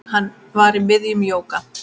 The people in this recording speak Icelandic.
Hann var í miðjum jóga